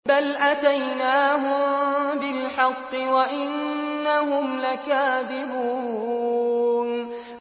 بَلْ أَتَيْنَاهُم بِالْحَقِّ وَإِنَّهُمْ لَكَاذِبُونَ